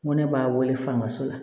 N ko ne b'a wele faga so la